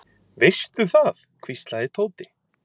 Veistu það hvíslaði Tóti.